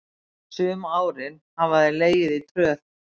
Sum árin hafa þeir legið í tröð.